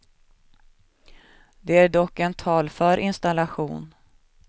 Det är dock en talför installation.